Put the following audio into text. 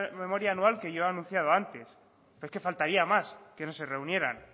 memoria anual que yo he anunciado antes pero es que faltaría más que no se reunieran